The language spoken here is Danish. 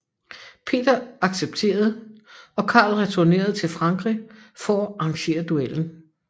Peter accepterede og Karl returnerede til Frankrig for at arrangere duellen